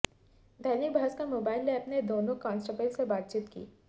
दैनिक Bhaskar mobile app ने दोनों constable से बातचीत की